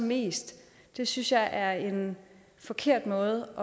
mest det synes jeg er en forkert måde